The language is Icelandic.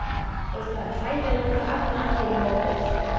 Og það er hræðilegt að efna ekki loforð.